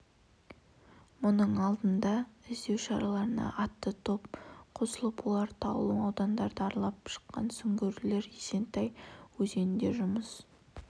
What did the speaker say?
мұның алдында іздеу шараларына атты топ қосылып олар таулы аудандарды аралап шыққан сүңгуірлер есентай өзенінде жұмыс